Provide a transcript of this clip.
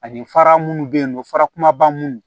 Ani fara munnu bɛ yen nɔ farakumaba minnu